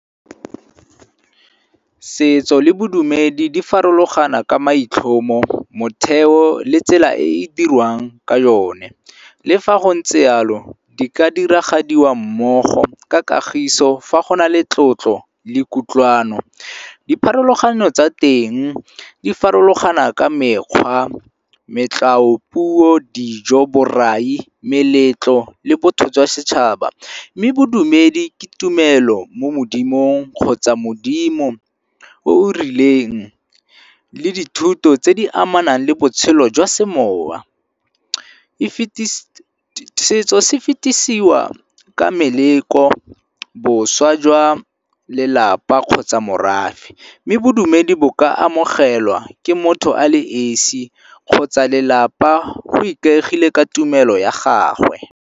Setso le bodumedi di farologana ka maitlhomo, motheo le tsela e e dirwang ka yone. Le fa go ntse yalo di ka diragadiwa mmogo ka kagiso fa go na le tlotlo le kutlwano. Dipharologano tsa teng di farologana ka mekgwa, puo, dijo, borai, meletlo le botho jwa setšhaba. Mme bodumedi ke tumelo mo modimong kgotsa modimo o o rileng le dithuto tse di amanang le botshelo jwa semowa. Setso se fetisiwa ka meleko, boswa jwa lelapa kgotsa morafe. Mme bodumedi bo ka amogelwa ke motho a le esi kgotsa lelapa go ikaegile ka tumelo ya gagwe.